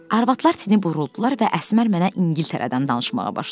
Arvadlar tini buruldular və Əsmər mənə İngiltərədən danışmağa başladı.